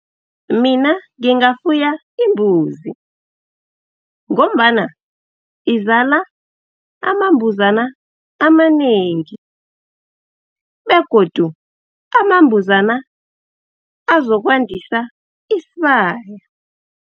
Mina ngingafuya imbuzi, ngombana izala amambuzana amanengi, begodu amambuzana azokwandisa isibaya.